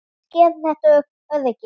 Hver vill skerða þetta öryggi?